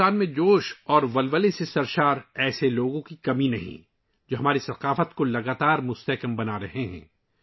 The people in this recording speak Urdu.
بھارت میں جوش اور ولولے سے بھرے ایسے لوگوں کی کوئی کمی نہیں ہے، جو ہماری ثقافت کو مسلسل فروغ دے رہے ہیں